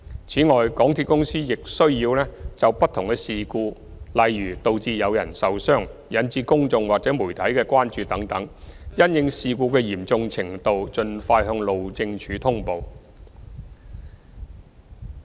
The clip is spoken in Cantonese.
此外，港鐵公司亦須就不同事故，例如導致有人受傷、引致公眾或媒體的關注等事故，因應其嚴重程度盡快向路政署通報。